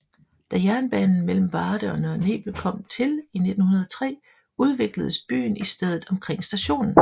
Da jernbanen mellem Varde og Nørre Nebel kom til i 1903 udvikledes byen i stedet omkring stationen